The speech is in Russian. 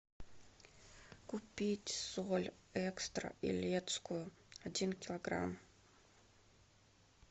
купить соль экстра елецкую один килограмм